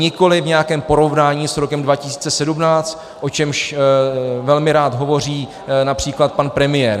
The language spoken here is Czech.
Nikoli v nějakém porovnání s rokem 2017, o čemž velmi rád hovoří například pan premiér.